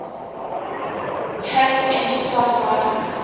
hat enterprise linux